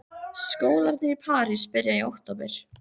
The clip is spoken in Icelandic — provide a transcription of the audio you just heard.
Skólarnir í París byrja í október.